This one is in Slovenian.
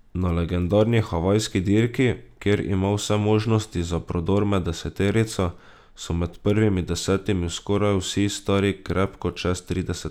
Na legendarni havajski dirki, kjer ima vse možnosti za prodor med deseterico, so med prvimi desetimi skoraj vsi stari krepko čez trideset.